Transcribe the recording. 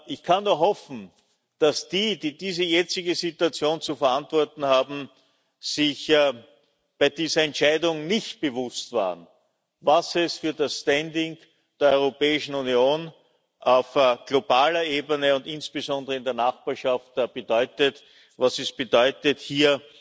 Ich kann nur hoffen, dass die, die diese jetzige Situation zu verantworten haben, sich bei dieser Entscheidung nicht bewusst waren, was es für das Standing der Europäischen Union auf globaler Ebene und insbesondere in der Nachbarschaft bedeutet, hier